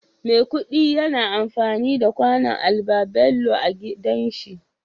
Maikudi yayi anfani da kwano albabello agidanshi